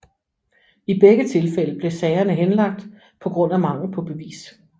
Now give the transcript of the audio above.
I begge tilfælde blev sagerne henlagt på grund af mangel på bevis